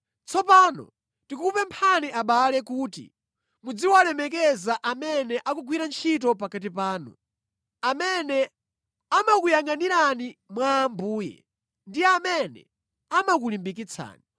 Tsopano tikukupemphani abale kuti muziwalemekeza amene akugwira ntchito pakati panu, amene amakuyangʼanirani mwa Ambuye ndi amene amakulimbikitsani.